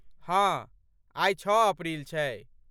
हाँ, आइ छओ अप्रिल छै।